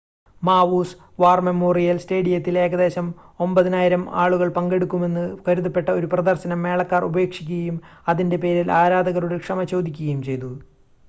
മാവൂസ് war memorial സ്റ്റേഡിയത്തിൽ ഏകദേശം 9,000 ആളുകൾ പങ്കെടുക്കുമെന്ന് കരുതപ്പെട്ട ഒരു പ്രദർശനം മേളക്കാർ ഉപേക്ഷിക്കുകയും അതിൻ്റെ പേരിൽ ആരാധകരോട് ക്ഷമ ചോദിക്കുകയും ചെയ്തു